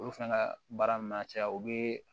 Olu fɛnɛ ka baara m na caya u be